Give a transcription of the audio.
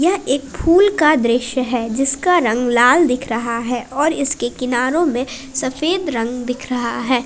एक फूल दृश्य है जिसका रंग लाल दिख रहा है और इसके किनारों में सफेद रंग दिख रहा है।